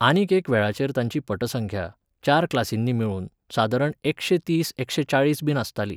आनीक एक वेळाचेर ताची पटसंख्या, चार क्लासिंनी मेळून, सादारण एकशें तीस एकशें चाळीसबी आसताली